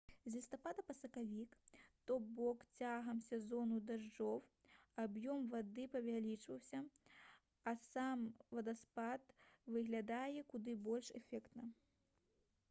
з лістапада па сакавік то бок цягам сезону дажджоў аб'ём вады павялічваецца а сам вадаспад выглядае куды больш эфектна